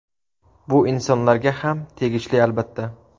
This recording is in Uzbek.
Bu insonlarga ham tegishli albatta.